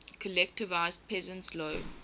collectivized peasants low